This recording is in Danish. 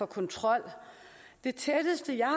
kontrol det tætteste jeg